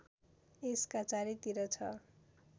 यसका चारैतिर छ